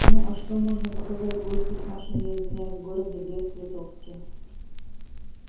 ну а что можно показать гостю в нашем я извиняюсь городе брест литовске